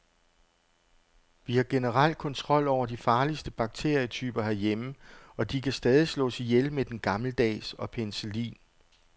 Vi har generelt kontrol over de farligste bakterietyper herhjemme, og de kan stadig slås ihjel med den gammeldags og penicillin.